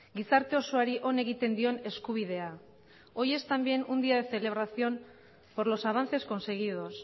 gizarte osoari on egiten dion eskubidea hoy es también un día de celebración por los avances conseguidos